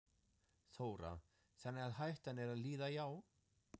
Þóra: Þannig að hættan er að líða hjá?